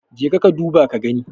jeka ka dubo ka gani?